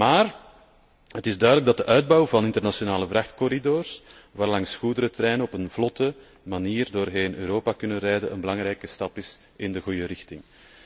Maar het is duidelijk dat de uitbouw van internationale vrachtcorridors waarlangs goederentreinen op een vlotte manier doorheen Europa kunnen rijden, een belangrijke stap is in de goede richting.